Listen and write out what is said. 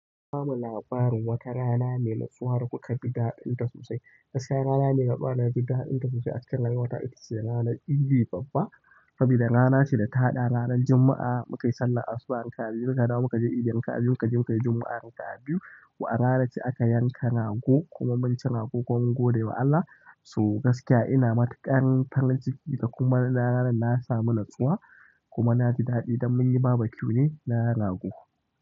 Ku bamu labarin wata rana mai natsuwa da kuka fi daɗinta sosai. Gaskiya rana mai ba daɗinta sosai a cikin rayuwata ita ce ranar Idi Babban saboda rana ce da ta haɗa ranar Juma'a, muka yi sallar asuba'i raka'a biyu, mu kaje Idi, mukayi raka'a biyu, muka yi Juma'a raka'a biyu wa rana ce aka yanka rago kuma mun ci ragon kuma kun godewa Allah. So gaskiya ina matuƙar farinciki da kuma rana nan na samu natsuwa kuma na ji daɗi don mun yi baba kiu ne na rago.